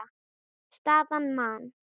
Staðan: Man.